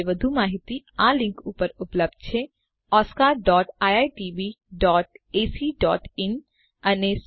આ વિશે વધુ માહિતી આપેલ લીંક પર ઉપલબ્ધ છે oscariitbacઇન અને spoken tutorialorgnmeict ઇન્ટ્રો